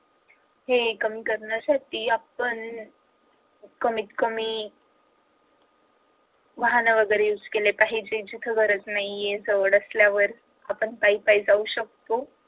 हे कमी करण्यासाठी आपण कमीत कमी वाहन वैगेरे use केले पाहिजेत जिथे गरज नाहीये तिथे सवड असल्यावर आपण पायी पायी जाऊ शकतो.